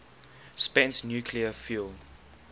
spent nuclear fuel